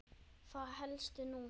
Það hélstu nú!